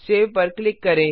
save पर click करें